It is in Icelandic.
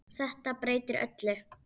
Þetta breytir öllu.